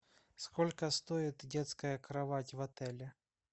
сколько стоит детская кровать в отеле